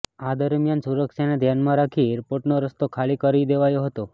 આ દરમિયાન સુરક્ષાને ધ્યાનમાં રાખી એરપોર્ટનો રસ્તો ખાલી કરાવી દેવાયો હતો